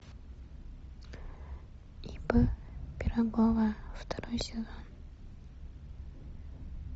ип пирогова второй сезон